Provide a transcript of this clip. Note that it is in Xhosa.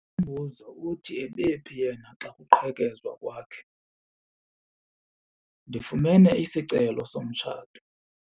Umbuzo uthi ebephi yena xa kuqhekezwa kwakhe? Ndifumene isicelo somtshato.